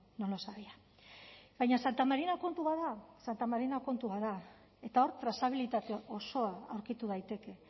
no lo sabía baina santa marina kontu bat da santa marina kontu bat da eta hor trazabilitate osoa aurkitu daiteke